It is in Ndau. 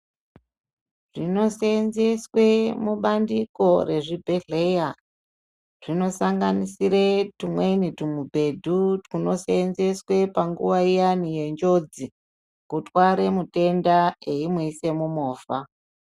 Zvinosenzeswe mubandiko rezvibhedhleya zvinosanganisire tumweni tumubhedhu tunosenzeswe panguva iyani yenjodzi. Kutware mutenda eimuisa mumovha.